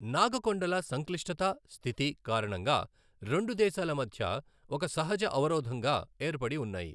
నాగ కొండల సంక్లిష్టత, స్థితి కారణంగా రెండు దేశాల మధ్య ఒక సహజ అవరోధంగా ఏర్పడి ఉన్నాయి.